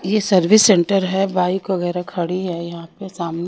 ये service centre है bike वगैरह खड़ी है यहां पे साम--